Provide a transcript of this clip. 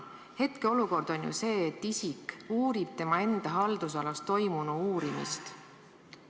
Hetkeolukord on ju see, et isik uurib tema enda haldusalas toimunu uurimist.